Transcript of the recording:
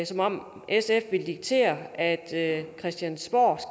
som om sf vil diktere at christiansborg